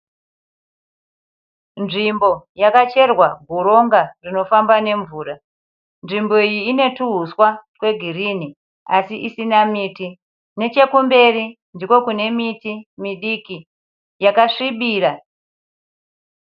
Nzvimbo yakacherwa goronga rinofamba nemvura. Nzvimbo iyi ine tuhuswa twegirini asi isina miti. Nechekumberi ndiko kune miti midiki yakasvibira.